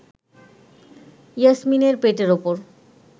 ইয়াসমিনের পেটের ওপর